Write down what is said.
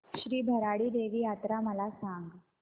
श्री भराडी देवी यात्रा मला सांग